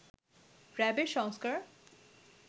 র‍্যাবের সংস্কার